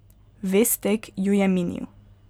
Ves tek jo je minil.